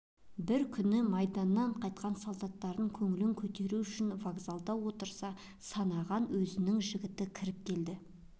бір күн майданнан қайтқан солдаттардың көңілін көтеру үшін вокзалда отырса санаған өзінің жігіт кіріп келеді